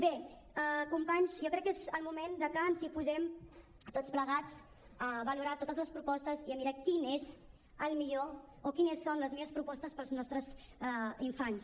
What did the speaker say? bé companys jo crec que és el moment de que ens posem tots plegats a valorar totes les propostes i a mirar quin és el millor o quines són les millors propostes per als nostres infants